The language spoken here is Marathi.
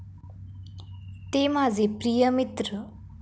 ते माझे प्रिय मित्र